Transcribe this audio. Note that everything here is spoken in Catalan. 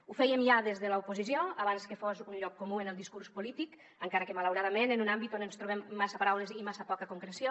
ho fèiem ja des de l’oposició abans que fos un lloc comú en el discurs polític encara que malauradament en un àmbit on ens trobem massa paraules i massa poca concreció